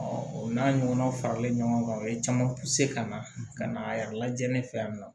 o n'a ɲɔgɔnnaw faralen ɲɔgɔn kan o ye caman ka na ka na a yɛrɛ lajɛ ne fɛ yan nɔ